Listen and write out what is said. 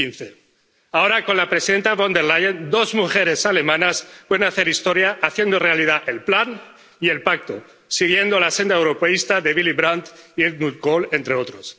2015. Ahora, con la presidenta Von der Leyen, dos mujeres alemanas pueden hacer historia haciendo realidad el plan y el pacto, siguiendo la senda europeísta de Willy Brandt y Helmut Kohl, entre otros.